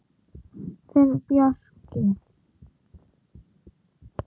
Þinn Bjarki.